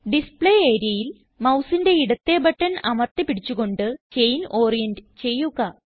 display areaയിൽ mouseന്റെ ഇടത്തേ ബട്ടൺ അമർത്തി പിടിച്ച് കൊണ്ട് ചെയിൻ ഓറിയന്റ് ചെയ്യുക